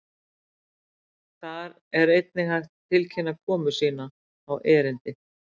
Þar er einnig hægt að tilkynna komu sína á erindið.